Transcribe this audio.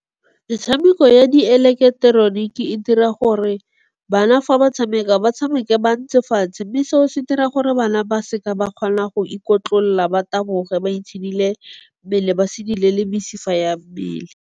Metshameko ya di eleketeroniki e dira gore bana fa ba tshameka, ba tshameke ba ntse fatshe mme seo se dira gore bana ba seka ba kgona go ikotlolla, ba taboge, ba itshidile mmele, basidile le mesifa ya mmele.